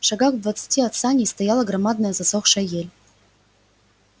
шагах в двадцати от саней стояла громадная засохшая ель